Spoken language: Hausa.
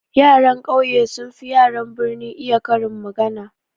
Yaran ƙauye sun fi yaran birni iya karin magana.